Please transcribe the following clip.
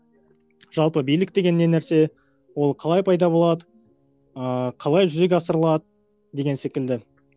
жалпы билік деген не нәрсе ол қалай пайда болады ыыы қалай жүзеге асырылады деген секілді